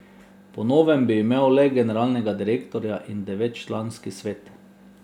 Po novem bi imel le generalnega direktorja in devetčlanski svet.